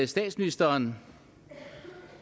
statsministeren